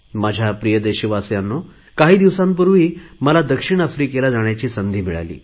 माझ्या प्रिय देशवासियांनो काही दिवसांपूर्वी मला दक्षिण आफ्रिकेला जाण्याची संधी मिळाली